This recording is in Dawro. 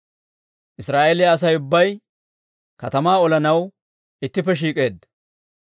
Israa'eeliyaa Asay ubbay katamaa olanaw ittippe shiik'eeddino.